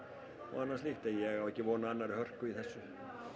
annað slíkt en ég á ekki von á annarri hörku í þessu